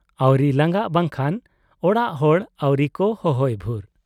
ᱟᱹᱣᱨᱤ ᱞᱟᱸᱜᱟᱜ ᱵᱟᱝᱠᱷᱟᱱ ᱚᱲᱟᱜ ᱦᱚᱲ ᱟᱹᱣᱨᱤ ᱠᱚ ᱦᱚᱦᱚᱭ ᱵᱷᱩᱨ ᱾